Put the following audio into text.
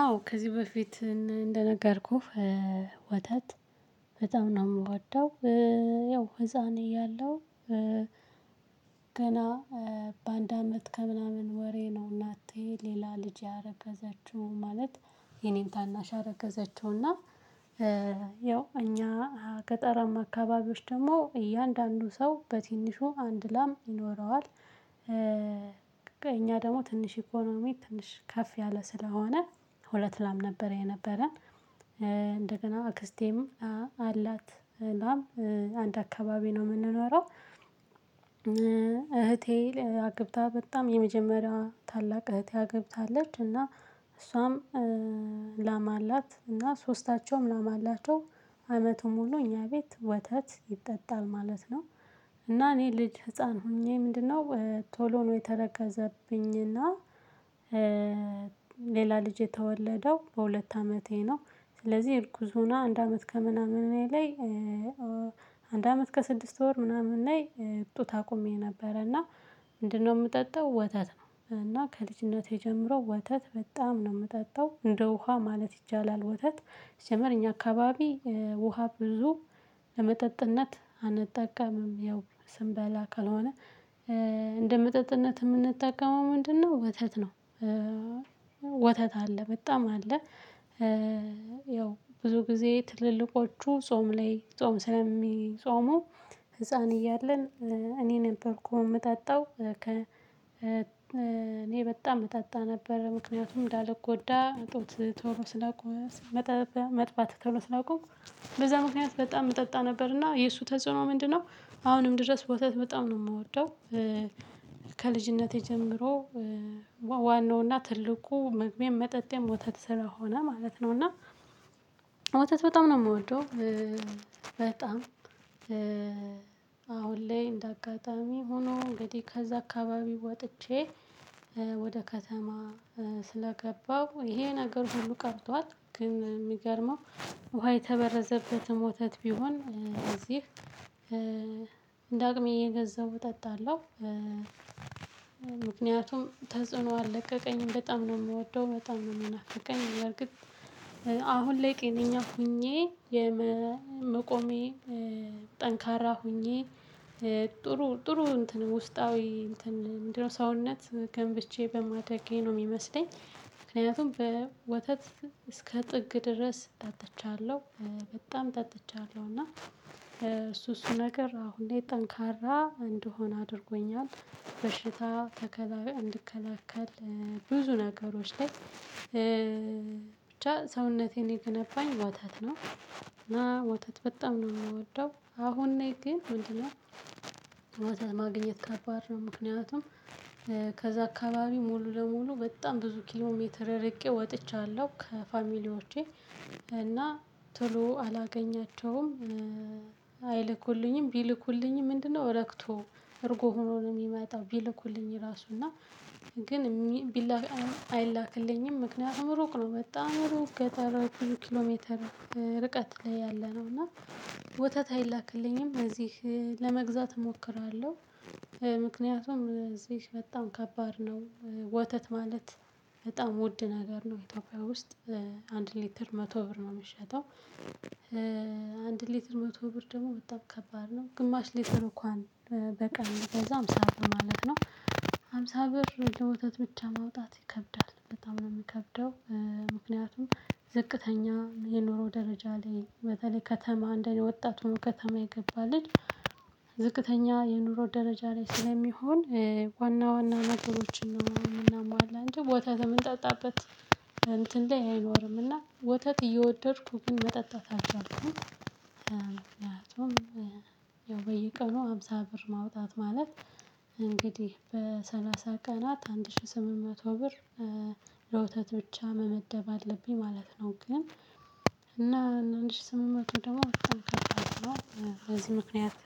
አዎ ከዚህ በፊት እንደነገርኩህ ወተት በጣም ነው የምወደው። ያው ህፃን እያለሁ ገና በአንድ አመት ከምናምን ወሬ ነው። እናቴ ሌላ ልጅ ያረገዘችው ማለት የኔም ታናሽ አረገዘችውና ያው እኛ ገጠራማ አካባቢዎች ደግሞ እያንዳንዱ ሰው በትንሹ አንድ ላም ይኖረዋል። እኛ ደግሞ ትንሽ ኢኮኖሚ ትንሽ ከፍ ያለ ስለሆነ ሁለት ላም ነበረ የነበረን። እንደገና አክስቴም አላት ላም አንድ አካባቢ ነው የምንኖረው። እህቴ አግብታ በጣም የመጀመሪያው ታላቅ እህትያ ገብታለች እና እሷም ላማ አላት እና ሶስታቸውም ላማ አላቸው። አመቱም ሁሉ እኛ ቤት ወተት ይጠጣል ማለት ነው። እና እኔ ልጅ ህፃን ሆኜ ምንድነው ቶሎ ነው የተረገዘብኝና። ሌላ ልጅ የተወለደው በሁለት አመቴ ነው። ስለዚህ ይልኩዙና አንድ አመት ከምናምን እኔ ላይ። አንድ አመት ከስድስት ወር ምናምን ላይ ጡት ታቆምኩኝ ነበረ እና። ምንድነው የምጠጣው ወተት ነው እና ከልጅነቴ ጀምሮ ወተት በጣም ነው የምጠጣው እንደ ውሃ ማለት ይቻላል። ወተት ይጀመር እኛ አካባቢ ውሃ ብዙ ለመጠጥነት አንጠቀምም ያው ስንበላ ከሆነ። እንደ መጠጥነት የምንጠቀመው ምንድነው ወተት ነው። ወተት አለ በጣም አለ። ያው ብዙ ጊዜ ትልልቆቹ ጾም ላይ ጾም ስለሚጾሙ ህፃን እያለን እኔ ነበርኩ የምታጣው እኔ በጣም መጣጣ ነበር ምክንያቱም እንዳልጎዳ ጦር ቶሎ ስላውቀው። መጥባት ቶሎ ስላውቀው በዛ ምክንያት በጣም እጠጣ ነበርና የእሱ ተጽዕኖ ምንድነው? አሁንም ድረስ ቦታ በጣም ነው የምወደው። ከልጅነቴ ጀምሮ ዋናውና ትልቁ መግቤም መጠጤም ወተት ስራ ሆነ ማለት ነው። እና ወተት በጣም ነው የምወደው። በጣም አሁን ላይ እንደ አጋጣሚ ሆኖ እንግዲህ ከዛ አካባቢ ወጥቼ ወደ ከተማ ስለገባው ይሄ ነገር ሁሉ ቀርቷል። ግን የሚገርመው ውሃ የተበረዘበትም ወተት ቢሆን እዚህ እንደ አቅሜ እየገዛሁ እጠጣለሁ። ምክንያቱም ተጽዕኖ አልለቀቀኝም በጣም ነው የምወደው በጣም ነው የምናፍቀኝ። አሁን ላይ ቄንኛ ሆኜ የመቆሜ ጠንካራ ሆኜ ጥሩ ጥሩ ውስጣዊ እንትን ምንድነው ሰውነት ገንብቼ በማደጌ ነው የሚመስለኝ። ምክንያቱም በወተት እስከ ጥግ ድረስ ጠጥቻለሁ። በጣም ጠጥቻለሁ እና እሱ እሱ ነገር አሁን እንዴት ጠንካራ እንደሆነ አድርጎኛል። በሽታ ተከላካይ እንድከላከል ብዙ ነገሮች ላይ ብቻ ሰውነቴን የገነባኝ ወታት ነው። እና ወታት በጣም ነው የምወደው አሁን እኔ ግን ምንድነው ማግኘት ከባድ ነው ምክንያቱም። ከዛ አካባቢ ሙሉ ለሙሉ በጣም ብዙ ኪሎ ሜትር ረቄ ወጥቻለሁ ከፋሚሊዎቼ እና ቶሎ አላገኛቸውም። አይልኩልኝም ቢልኩልኝም ምንድነው ወረክቶ እርጎ ሆኖ ነው የሚመጣው። ቢልኩልኝ ራሱ እና ግን ቢላክ አይላክልኝም ምክንያት እምሩቅ ነው። መጣ አእምሮክ ገጠራው ኪሎ ኪሎ ሜትር ርቀት ላይ ያለ ነው። እና ወተት አይላክልኝም እዚህ ለመግዛት እሞክራለሁ። ምክንያቱም እዚህ በጣም ከባድ ነው ወተት ማለት በጣም ውድ ነገር ነው ኢትዮጵያ ውስጥ። አንድ ሊትር መቶ ብር ነው የምሸጠው። አንድ ሊትር መቶ ብር ደግሞ ወጣ ከባድ ነው ግማሽ ሊትር እንኳን በቃ እንደዛ ሃምሳ ማለት ነው። ሃምሳ ብር ለወተት ብቻ ማውጣት ይከብዳል በጣም ነው የምከብደው። ምክንያቱም ዝቅተኛ የኖረው ደረጃ ላይ በተለይ ከተማ እንደኔ ወጣት ሆኖ ከተማ ይገባልኝ። ዝቅተኛ የኑሮ ደረጃ ላይ ስለሚሆን ዋና ዋና ነገሮችን እናመማላ እንደ ወተት የምንጠጣበት እንትን ላይ አይኖርምና ወተት እየወደድኩ ግን መጠጣት አልቻልኩም። ምክንያቱም ያው በየቀኑ ሃምሳ ብር ማውጣት ማለት። በሰላሳ ቀናት አንድ ሺህ ስምንት መቶ ብር ለውተት ብቻ መመደብ አለብኝ ማለት ነው። ግን እና አንድ ሺህ ስምንት በትንሽ ደግሞ በዚህ ምክንያት።